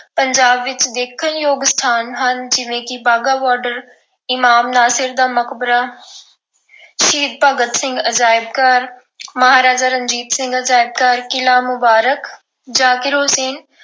ਪੰਜਾਬ ਵਿੱਚ ਦੇਖਣਯੋਗ ਸਥਾਨ ਹਨ ਜਿਵੇਂ ਕਿ ਵਾਹਗਾ border ਇਮਾਮ ਨਾਸਿਰ ਦਾ ਮਕਬਰਾ ਸ਼ਹੀਦ ਭਗਤ ਸਿੰਘ ਅਜਾਇਬ ਘਰ, ਮਹਾਰਾਜਾ ਰਣਜੀਤ ਸਿੰਘ ਅਜਾਇਬ ਘਰ, ਕਿਲ੍ਹਾ ਮੁਬਾਰਕ ਜ਼ਾਕਿਰ ਹੁਸੈਨ